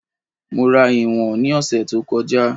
Mo rà ìwọ̀n ni ose tí ó kọjá